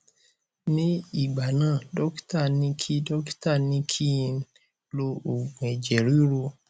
ní ìgbà náà dọkítà ní kí dọkítà ní kí n lo òògù ẹjẹ ríru